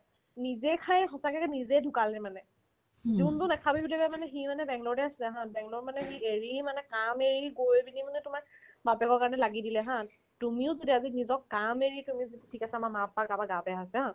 নিজে খাই সঁচাকে নিজে ঢুকালে গে মানে যিনতো নেখাবি বুলি কই মানে সি মানে বেংগলৰতে আছিলে haa বেংগলৰত মানে সি এৰি মানে কাম এৰি গৈ পিনে মানে তোমাৰ বাপেকৰ কাৰণে লাগি দিলে haa তুমি এতিয়া নিজৰ কাম এৰি কৰো যদি ঠিক আছে আমাৰ মা papa আমাৰ গা বেয়া আছে